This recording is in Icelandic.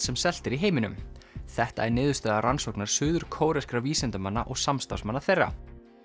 sem selt er í heiminum þetta er niðurstaða rannsóknar vísindamanna og samstarfsmanna þeirra